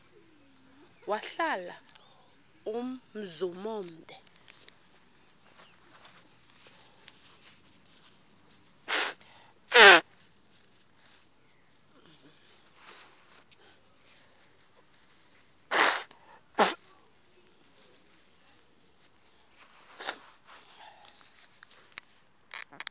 wahlala umzum omde